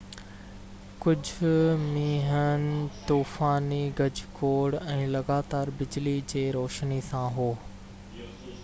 ڪجهه مينهن طوفاني گجگوڙ ۽ لڳاتار بجلي جي روشني سان هو